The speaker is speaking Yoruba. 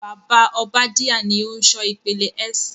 Bàbá Obadiah ni o n ṣọ ìpele S.